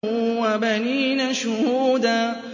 وَبَنِينَ شُهُودًا